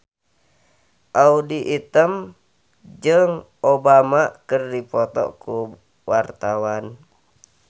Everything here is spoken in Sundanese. Audy Item jeung Obama keur dipoto ku wartawan